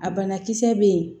A banakisɛ bɛ yen